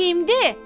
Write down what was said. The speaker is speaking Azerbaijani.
Kimdi?